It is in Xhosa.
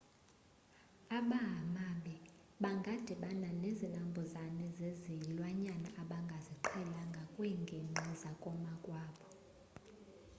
abahamabi bangadibana nezinambuzane zezilwanyane abangaziqhelanga kwiingingqi zakomakwabo